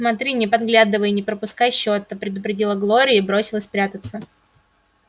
смотри не подглядывай и не пропускай счета предупредила глория и бросилась прятаться